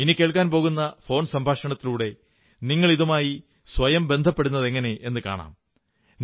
ഇനി കേൾക്കാൻ പോകുന്ന ഫോൺ സംഭാഷണത്തിലൂടെ നിങ്ങൾ ഇതുമായി സ്വയം ബന്ധപ്പെടുന്നതെങ്ങനെയെന്നു കാണാം